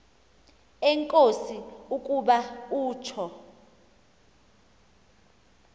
enkosi ukuba utsho